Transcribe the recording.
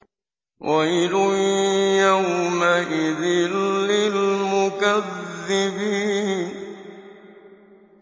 وَيْلٌ يَوْمَئِذٍ لِّلْمُكَذِّبِينَ